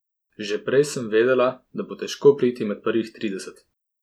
Že prej sem vedela, da bo težko priti med prvih trideset.